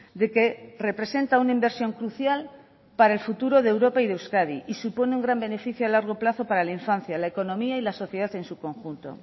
de que representa una inversión crucial para el futuro de europa y de euskadi y supone un gran beneficio a largo plazo para la infancia la economía y la sociedad en su conjunto